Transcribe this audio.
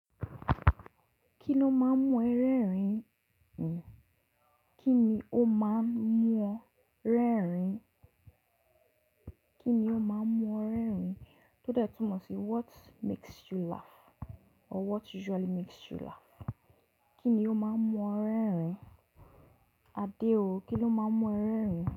Kíni ó máa ń mú ẹ rẹ́rìn? Kíni ó máa ń mú ọ rẹ́rìn? Kíni ó máa ń mú ọ rẹ́rìn? Tódé tún mọ̀ sí what makes you laugh or what usually makes you laugh? Kíni ó máa ń mú ọ rẹ́rìn-ín? Adé o, kíni ó máa ń mú ẹ rẹ́rìn-ín?